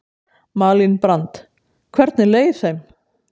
Malín Brand: Hvernig leið þeim?